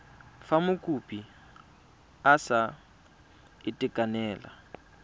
fa mokopi a sa itekanela